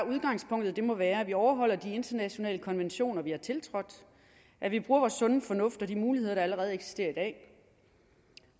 udgangspunktet må være at vi overholder de internationale konventioner vi har tiltrådt at vi bruger vores sunde fornuft og de muligheder der allerede eksisterer i dag